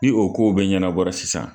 Ni o ko bɛɛ ɲɛnabɔ la sisan